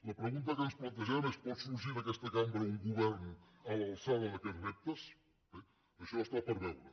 la pregunta que ens plantegem és pot sorgir d’aquesta cambra un govern a l’alçada d’aquests reptes bé això està per veure